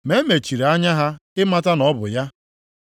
Ma e mechiri anya ha ịmata na ọ bụ ya.